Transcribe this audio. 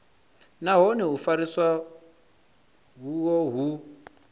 nahone u fheliswa uho hu